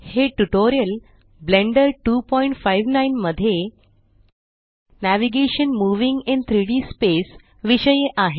हे tutorial Blender 259 मध्ये navigation moving in 3डी स्पेस विषयी आहे